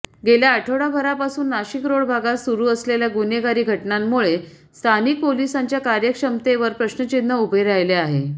गेल्या आठवडाभरापासून नाशिकरोड भागात सुरू असलेल्या गुन्हेगारी घटनांमुळे स्थानिक पोलिसांच्या कार्यक्षमतेवर प्रश्नचिन्ह उभे राहिले आहे